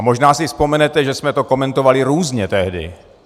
A možná si vzpomenete, že jsme to komentovali různě tehdy.